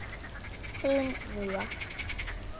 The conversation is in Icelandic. Þín Mía.